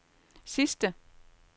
sidste